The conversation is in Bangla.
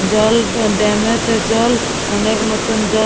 জল ড্যা ড্যামেতে জল অনেক মতন জল--